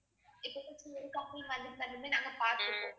நாங்க பத்துப்போம்